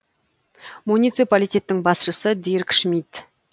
муниципалитеттің басшысы дирк шмидт